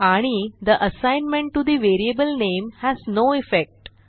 आणि the assignment to the variable name has no effect